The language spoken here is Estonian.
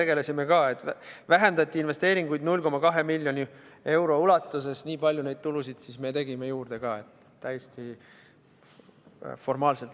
Investeeringuid vähendati 0,2 miljoni euro ulatuses ja nii palju tegime ka tulusid juurde.